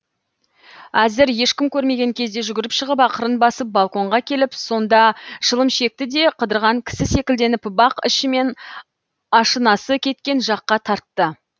әзір ешкім көрмеген кезде жүгіріп шығып ақырын басып балконға келіп сонда шылым шекті де қыдырған кісі секілденіп бақ ішімен ашынасы кеткен жаққа тартты